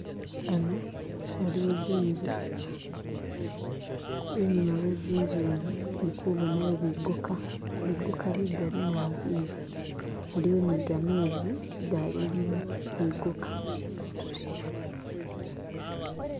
Hano haliwo zinzu, inyuma we zinzu zino ndikubonayo bigoka bigoka bigali naabi bi haliwo ni gamezi galimo bigoka